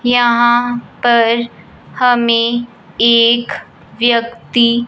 यहां पर हमें एक व्यक्ति--